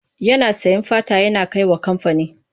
Yana sayen fata yana kai wa kamfani.